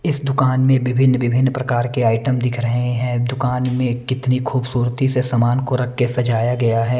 इस दुकान में विभिन्न-विभिन्न प्रकार के आइटम दिख रहे हैं दुकान में कितनी खूबसूरती से समान को रख के सजाया गया है।